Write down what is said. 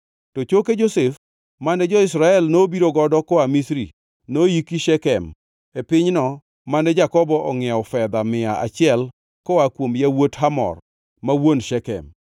To choke Josef, mane jo-Israel nobiro godo koa Misri, noiki Shekem e pinyno mane Jakobo ongʼiewo fedha mia achiel koa kuom yawuot Hamor, ma wuon Shekem. Ma nobedo kaka pok mar nyikwa Josef.